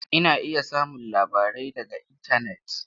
Ana iya samun labarai daga intanet.